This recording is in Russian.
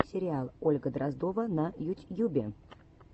сериал ольга дроздова на ютьюбе